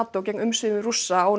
Nató gegn umsvifum Rússa á